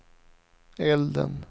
elden